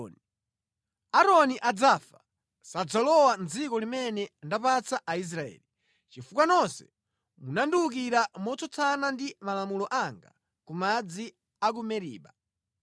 “Aaroni adzakakhala ndi anthu a mtundu wake, sadzalowa mʼdziko limene ndapereka kwa Aisraeli, chifukwa nonse munandiwukira motsutsana ndi malamulo anga ku madzi a ku Meriba.